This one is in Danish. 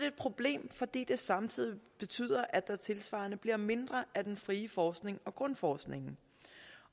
et problem fordi det samtidig betyder at der tilsvarende bliver mindre af den frie forskning og grundforskningen